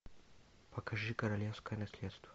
покажи королевское наследство